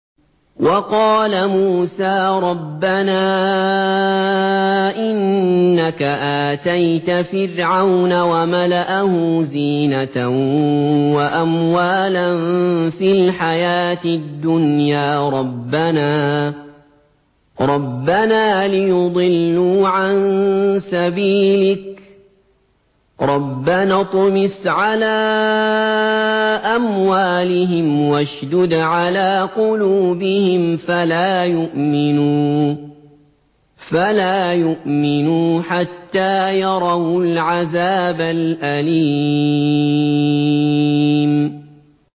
وَقَالَ مُوسَىٰ رَبَّنَا إِنَّكَ آتَيْتَ فِرْعَوْنَ وَمَلَأَهُ زِينَةً وَأَمْوَالًا فِي الْحَيَاةِ الدُّنْيَا رَبَّنَا لِيُضِلُّوا عَن سَبِيلِكَ ۖ رَبَّنَا اطْمِسْ عَلَىٰ أَمْوَالِهِمْ وَاشْدُدْ عَلَىٰ قُلُوبِهِمْ فَلَا يُؤْمِنُوا حَتَّىٰ يَرَوُا الْعَذَابَ الْأَلِيمَ